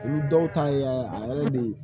Olu dɔw ta ye a yɛrɛ be